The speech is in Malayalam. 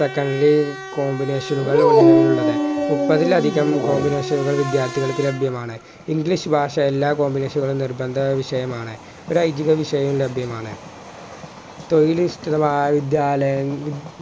combination നുകൾ നിലവിലുള്ളത് മുപ്പത്തിലധികം combination വിദ്യാർത്ഥികൾക്ക് ലഭ്യമാണ് english ഭാഷ എല്ലാ school കളിലും നിർബന്ധ വിഷയമാണ് ഒരൈതിക വിഷയവും ലഭ്യമാണ് വിദ്യാലയ